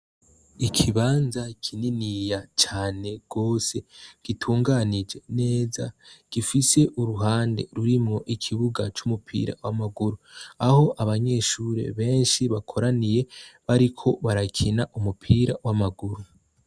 Ikibanza kininiya cane gose gitunganije neza gifise uruhande rurimwo ikibuga c'umupira w'amaguru aho abanyeshure beshi bakoraniye bariko barakina umupira w'amaguru.